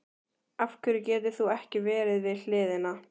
Af hverju getur þú ekki verið við hliðina?